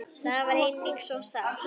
Það er einnig svo sárt.